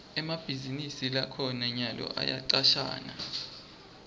emabhizinisi lakhona nyalo ayacashana